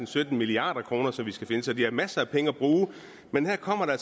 sytten milliard kr som vi skal finde så de har masser af penge at bruge af men her kommer der